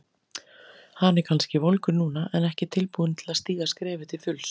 Hann er kannski volgur núna en ekki tilbúinn til að stíga skrefið til fulls.